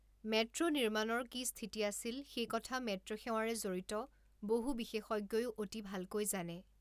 Metro নিৰ্মাণৰ কি স্থিতি আছিল সেই কথা মেট্ৰোসেৱাৰে জড়িত বহু বিশেষজ্ঞয়ো অতি ভালকৈ জানে!